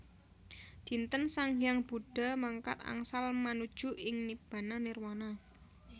Dinten sang hyang Buddha mangkat angsal manuju ing Nibbana Nirwana